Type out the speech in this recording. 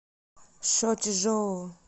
шочжоу